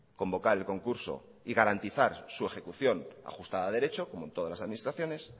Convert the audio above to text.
convocar el concurso y garantizar su ejecución ajustada derecho como en todas las administraciones